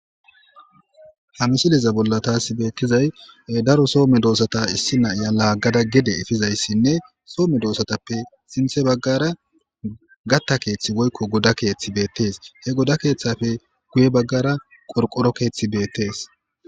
Ha misiliza bolla taas beettizay daro soo medoosata issi na'iya laaggada gede efizayssinne soo medoosatappe sinthe baggara gatta keeththi woykko goda keeththi beettees. He goda keeththafe guye baggara qorqoro keeththi beettees.